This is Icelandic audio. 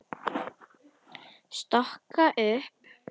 Stokka upp.